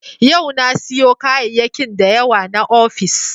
Yau na siyo kayayyakin da yawa na ofis.